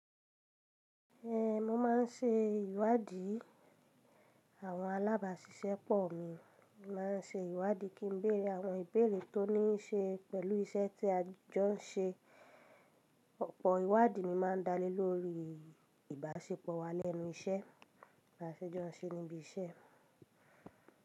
Eh, mo ma n ṣe ìwádìí, àwọn alábàṣiṣẹ́pọ̀ mi ma n ṣe ìwádìí kí n béèrè àwọn ìbéèrè tó ní í ṣe pẹ̀lú iṣẹ́ tí a jọ n ṣe. Ọ̀pọ̀ ìwádìí mi ma n dalé lórí ìbáṣepọ̀ wa lẹ́nu iṣẹ́, b'àṣejọ́nṣe níbí iṣẹ́.